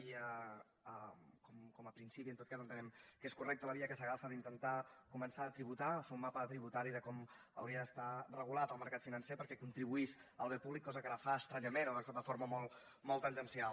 i com a principi en tot cas entenem que és correcta la via que s’agafa d’intentar començar a tributar a fer un mapa tributari de com hauria d’estar regulat el mercat financer perquè contribuís al bé públic cosa que ara fa estranyament o de forma molt tangencial